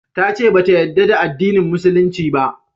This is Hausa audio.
Ta ce ba ta yarda da addinin musulunci ba